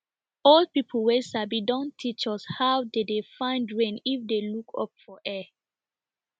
old people wey sabi don teach us how dey de find rain if you look up for air